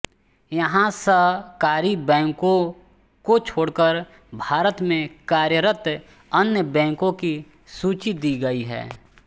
यहाँ सहकारी बैंको को छोड़कर भारत में कार्यरत अन्य बैंकों की सूची दी गयी है